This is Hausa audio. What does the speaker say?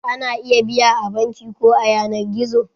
Ana iya biya a banki ko a yanar gizo.